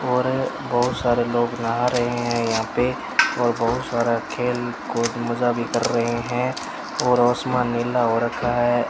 और बहोत सारे लोग नहा रहे हैं यहां पे और बहुत सारा लोग खेल कूद मजा भी कर रहे हैं और आसमान नीला हो रखा है।